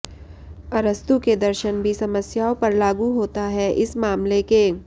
अरस्तू के दर्शन भी समस्याओं पर लागू होता है इस मामले के